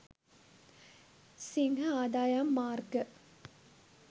සිංහ ආදායම් මාර්ග